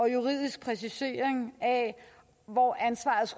en juridisk præcisering af hvor ansvaret